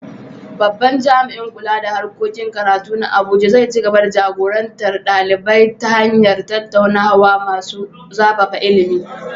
Babban jami’in kula da harkokin karatu na Abuja zai ci gaba da jagorantar ɗalibai ta hanyar tattaunawa masu zafafa ilimi.